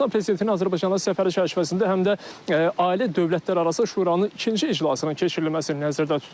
Özbəkistan prezidentinin Azərbaycana səfəri çərçivəsində həm də ali dövlətlərarası şuranın ikinci iclasının keçirilməsi nəzərdə tutulub.